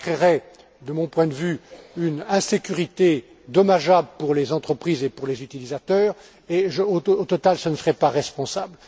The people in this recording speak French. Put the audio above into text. Cela créerait, de mon point de vue, une insécurité dommageable pour les entreprises et pour les utilisateurs et au total ce ne serait pas responsable.